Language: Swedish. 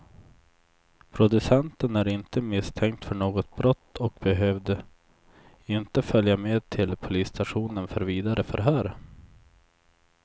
Producenten är inte misstänkt för något brott och behövde inte följa med till polisstationen för vidare förhör.